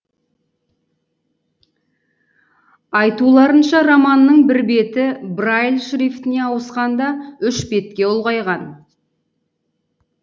айтуларынша романның бір беті брайль шрифтіне ауысқанда үш бетке ұлғайған